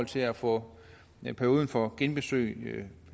til at få perioden for genbesøg